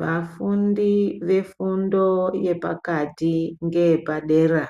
Vafundi vefundo yepakati ngeyepadera